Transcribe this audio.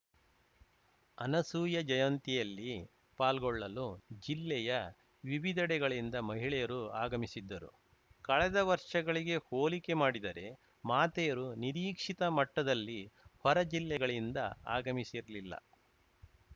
ಅನಸೂಯ ಜಯಂತಿಯಲ್ಲಿ ಪಾಲ್ಗೊಳ್ಳಲು ಜಿಲ್ಲೆಯ ವಿವಿಧೆಡೆಗಳಿಂದ ಮಹಿಳೆಯರು ಆಗಮಿಸಿದ್ದರು ಕಳೆದ ವರ್ಷಗಳಿಗೆ ಹೋಲಿಕೆ ಮಾಡಿದರೆ ಮಾತೆಯರು ನಿರೀಕ್ಷಿತ ಮಟ್ಟದಲ್ಲಿ ಹೊರ ಜಿಲ್ಲೆಗಳಿಂದ ಆಗಮಿಸಿರಲಿಲ್ಲ